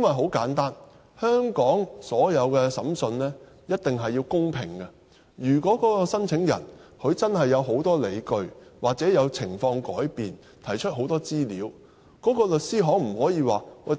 很簡單，香港所有的審訊一定要公平，如果申請人真的有很多理據，或情況有變，提出很多資料，律師行便不